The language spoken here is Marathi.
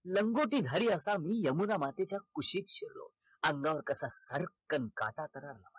लंगोटी घरी असा मी यमुना मातेच्या कुशीत शिरलो अंगावर कसा भरकन काटाच आला